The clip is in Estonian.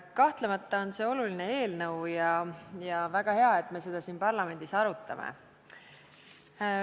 Kahtlemata on see oluline eelnõu ja väga hea, et me seda siin parlamendis arutame.